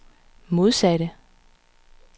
modsatte